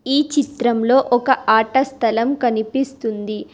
ఈ చిత్రంలో ఒక ఆట స్థలం కనిపిస్తుంది.